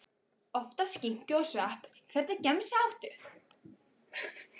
Oftast skinku og svepp Hvernig gemsa áttu?